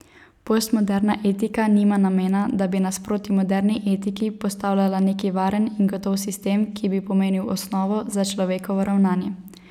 Postmoderna etika nima namena, da bi nasproti moderni etiki postavljala neki varen in gotov sistem, ki bi pomenil osnovo za človekovo ravnanje.